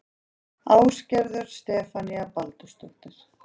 Ásgerður Stefanía Baldursdóttir